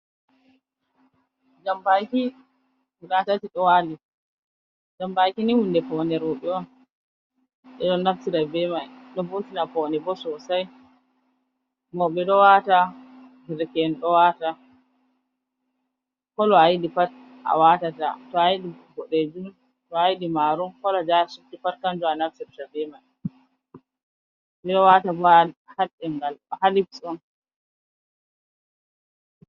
Jambaki guda tati ɗo wali, jambaki ni hunde paune roɓe on, ɓe ɗo naftira be mai ɗo vurtina paune bo sosai, mauɓe ɗowata derke'en ɗo wata, colo ayiɗi pat awatata, to ayiɗi boɗejum, to ayiɗi marum, colo je asubti pat kanjum anaftirta be mai ɓeɗo watabo ha ɗengal ha lips on.